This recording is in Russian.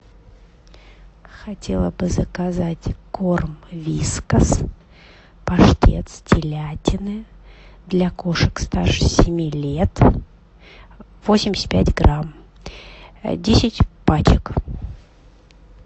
хотела бы заказать корм вискас паштет с телятины для кошек старше семи лет восемьдесят пять грамм десять пачек